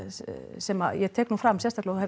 sem ég tek nú fram og